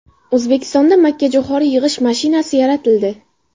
O‘zbekistonda makkajo‘xori yig‘ish mashinasi yaratildi.